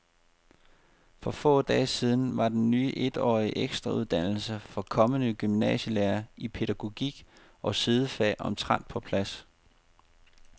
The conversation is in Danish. For få dage siden var den ny etårige ekstrauddannelse for kommende gymnasielærere i pædagogik og sidefag omtrent på plads.